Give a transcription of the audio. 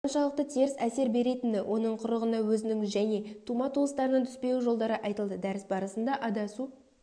қаншалықты теріс әсер беретіні оның құрығына өзінің және тума-туыстарыңның түспеуі жолдары айтылды дәріс барысында адасу